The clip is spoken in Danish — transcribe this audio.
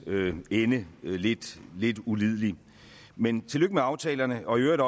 ende lidt lidt ulidelig men tillykke med aftalerne og i øvrigt